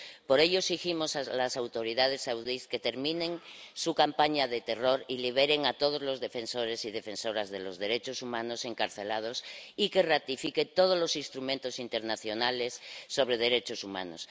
Por ello exigimos a las autoridades saudíes que terminen su campaña de terror y liberen a todos los defensores y defensoras de los derechos humanos encarcelados y que ratifiquen todos los instrumentos internacionales sobre derechos humanos.